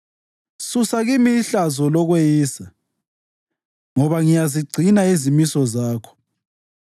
Susa kimi ihlazo lokweyisa, ngoba ngiyazigcina izimiso zakho.